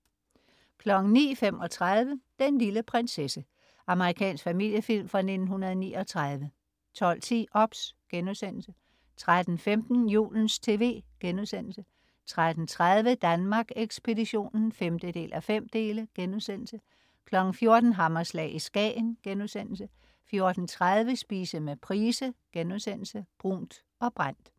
09.35 Den lille prinsesse. Amerikansk familiefilm fra 1939 12.10 OBS* 13.15 Julens TV* 13.30 Danmark Ekspeditionen 5:5* 14.00 Hammerslag i Skagen* 14.30 Spise med Price.* "Brunt og Brændt"